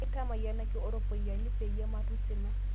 Nkai tamayianaki oropiyani payie matum sina